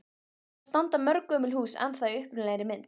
Þar standa mörg gömul hús ennþá í upprunalegri mynd.